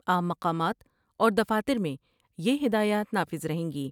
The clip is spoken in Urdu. عام مقامات اور دفاتر میں یہ ہدایات نافذ رہیں گی ۔